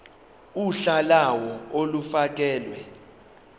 uhla lawo olufakelwe